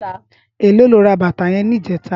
Éló ló rà bàtá yèn nijètá?